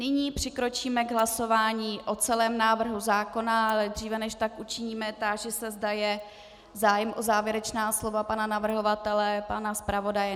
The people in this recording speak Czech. Nyní přikročíme k hlasování o celém návrhu zákona, ale dříve než tak učiníme, táži se, zda je zájem o závěrečná slova pana navrhovatele, pana zpravodaje?